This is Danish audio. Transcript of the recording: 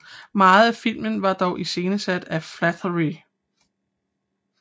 Meget af filmen var dog iscenesat af Flaherty